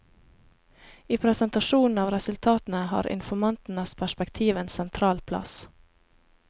I presentasjonen av resultatene har informantenes perspektiv en sentral plass.